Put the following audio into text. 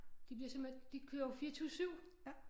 De bliver simpelthen de kører jo 24 7